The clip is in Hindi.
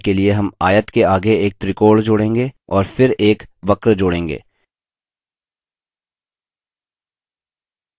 पानी का प्रभाव देने के लिए हम आयत के आगे एक त्रिकोण जोड़ेंगे और फिर एक वक्र जोड़ेंगे